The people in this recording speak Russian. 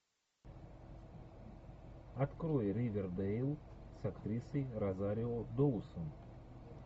открой ривердейл с актрисой розарио доусон